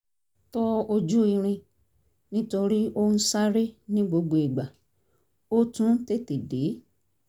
tọ ojú irin nítorí ó ń sáré ní gbogbo ìgbà ó tún tètè déé